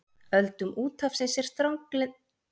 Öldum úthafsins er strandlengjan langþráð.